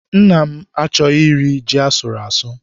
Nna m achọghị iri ji asụrụ asụ.